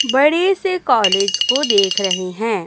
बडे से कॉलेज को देख रहे हैं।